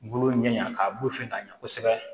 Bolo ɲɛɲa a bulu fɛn ka ɲɛ kosɛbɛ